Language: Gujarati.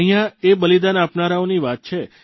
અહીંયા એ બલિદાન આપનારાઓની વાતો છે